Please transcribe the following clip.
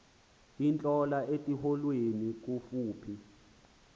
intlola etyholweni kufuphi